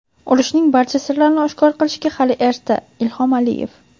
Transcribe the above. Urushning barcha sirlarini oshkor qilishga hali erta — Ilhom Aliyev.